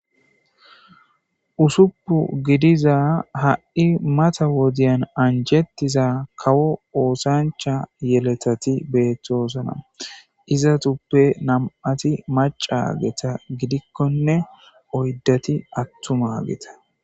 Usupun gidiza ha'i mata wodiyan anjetiza kawo osancha yeletati betosona izatupe nam'ati mac'ageta gidikonne oydati atumageta.